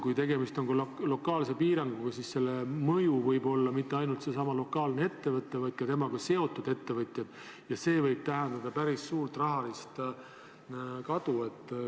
Kui tegemist on lokaalse piiranguga, siis selle mõju ei pruugi avalduda mitte ainult selle lokaalse ettevõtte puhul, vaid ka temaga seotud ettevõtete puhul, ja see võib tähendada päris suurt rahalist kadu.